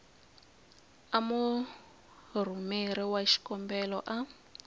a murhumeri wa xikombelo a